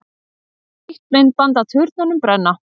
Nýtt myndband af turnunum brenna